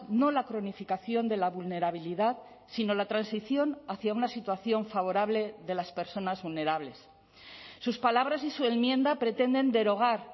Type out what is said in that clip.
no la cronificación de la vulnerabilidad sino la transición hacía una situación favorable de las personas vulnerables sus palabras y su enmienda pretenden derogar